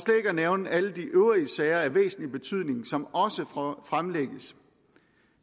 at nævne alle de øvrige sager af væsentlig betydning som også fremlægges